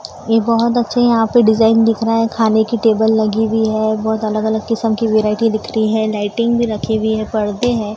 ये बहोत अच्छे यहां पे डिजाइन दिख रहा है खाने की टेबल लगी हुई है बहोत अलग अलग किस्म की वैरायटी दिख रही है लाइटिंग भी रखी हुई है पर्दे हैं।